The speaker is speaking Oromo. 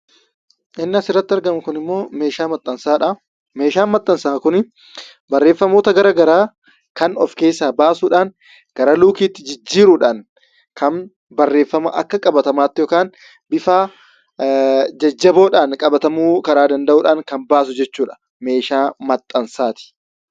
Inni asirratti argamu kun immoo meeshaa maxxansaa dha. Meeshaan maxxansaa kun barreeffamoota garaagaraa kan of keessaa baasuudhaan, gara luukiitti jijiiruudhaan, kan barreeffama akka qabatamaatti yookaan bifa jajjaboodhaan qabatamuu karaa danda'uun kan baasu jechuudha. Meeshaa maxxansaati